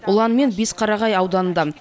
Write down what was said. улан мен бесқарағай ауданында